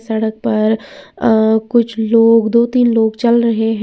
सड़क पर अ कुछ लोग दो तीन लोग चल रहे हैं।